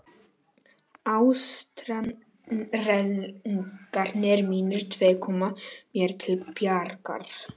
Ástarenglarnir mínir tveir koma mér til bjargar.